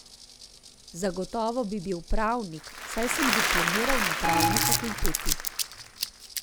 Zagotovo bi bil pravnik, saj sem diplomiral na pravni fakulteti.